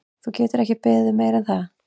Þú getur ekki beðið um meira en það.